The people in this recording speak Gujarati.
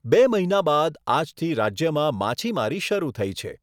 બે મહિના બાદ આજથી રાજ્યમાં માછીમારી શરૂ થઈ છે.